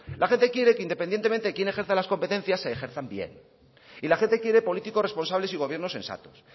la gente quiere que independientemente de quién ejerza las competencias se ejerzan bien y la gente quiere políticos responsables y gobiernos sensatos